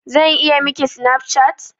Zan iya Miki Snapchat?